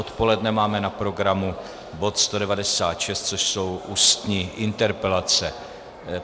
Odpoledne máme na programu bod 196, což jsou ústní interpelace.